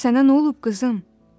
Sənə nə olub, qızım?